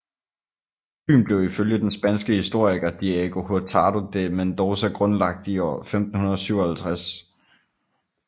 Byen blev ifølge den spanske historiker Diego Hurtado de Mendoza grundlagt i år 1557